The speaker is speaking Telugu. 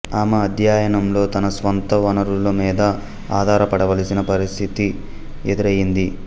ఆమె అధ్యయనంలో తన స్వంత వనరుల మీద ఆధారపడవలసిన పరిస్థితి ఎదురైంది